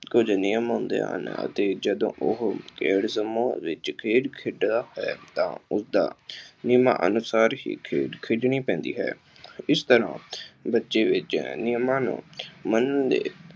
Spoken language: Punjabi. ਕੁੱਝ ਨਿਯਮ ਹੁੰਦੇ ਹਨ ਅਤੇ ਜਦੋਂ ਉਹ ਖੇਡ ਸਮੂਹ ਵਿੱਚ ਖੇਡ ਖੇਡਦਾ ਹੈ ਤਾਂ ਉਦਾਂ ਨਿਯਮਾਂ ਅਨੁਸਾਰ ਹੀ ਖੇਡ ਖੇਡਣੀ ਪੈਂਦੀ ਹੈ। ਇਸ ਤਰ੍ਹਾਂ ਬੱਚੇ ਵਿੱਚ ਨਿਯਮਾਂ ਨੂੰ ਮੰਨਣ ਦੇ